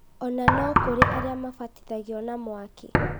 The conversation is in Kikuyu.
ona no kũrĩ arĩa mabatithagio na mwaki